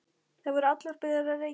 Þær voru allar byrjaðar að reykja.